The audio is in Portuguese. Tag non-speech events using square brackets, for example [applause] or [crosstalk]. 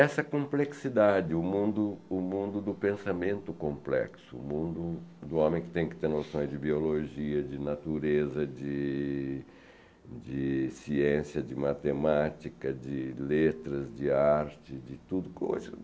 Essa complexidade, o mundo o mundo do pensamento complexo, o mundo do homem que tem que ter noções de biologia, de natureza, de de ciência, de matemática, de letras, de arte, de tudo. [unintelligible]